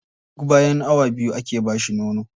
Duk bayan awa biyu ake ba shi nono.